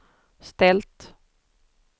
ställt